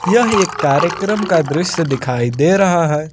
यह एक कार्यक्रम का दृश्य दिखाई दे रहा है।